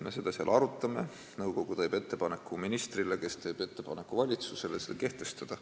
Me seda arutame, nõukogu teeb ettepaneku ministrile, kes teeb ettepaneku valitsusele see kehtestada.